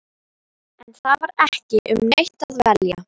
En það var ekki um neitt að velja.